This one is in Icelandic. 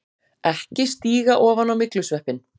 EKKI STÍGA OFAN Á MYGLUSVEPPINN!